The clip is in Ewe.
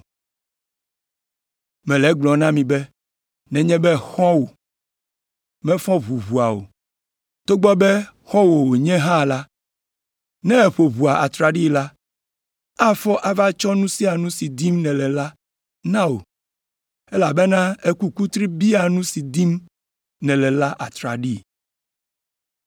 “Mele egblɔm na mi be nenye be xɔ̃wòa mefɔ ʋu ʋɔa o, togbɔ be xɔ̃wò wònye hã la, ne èƒo ʋɔa atraɖii la, afɔ ava tsɔ nu sia nu si dim nèle la na wò, elabena èku kutri bia nu si dim nèle la atraɖii.